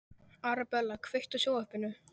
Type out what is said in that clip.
Arabella, kveiktu á sjónvarpinu.